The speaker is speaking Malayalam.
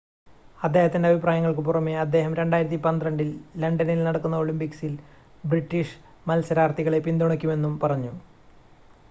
അദ്ദേഹത്തിൻ്റെ അഭിപ്രായങ്ങൾക്ക് പുറമേ അദ്ദേഹം 2012 ൽ ലണ്ടനിൽ നടക്കുന്ന ഒളിമ്പിക്സിൽ ബ്രിട്ടീഷ് മത്സരാർത്ഥികളെ പിന്തുണക്കുമെന്നും പറഞ്ഞു